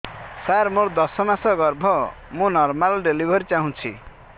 ସାର ମୋର ଦଶ ମାସ ଗର୍ଭ ମୁ ନର୍ମାଲ ଡେଲିଭରୀ ଚାହୁଁଛି